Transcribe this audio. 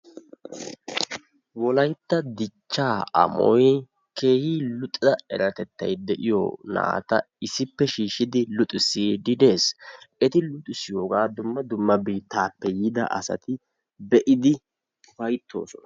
Wolaytta dichchaa amoy keehi luxida eratettay de'iyo naata issippe shiishshidi luxissiiddi de'es. Eti luxissiyogaa dumma dumma biittaappe yiida asati be'idi ufayttoosona.